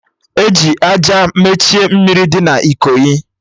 Eji àjà mechie mmiri dị na Ikoyi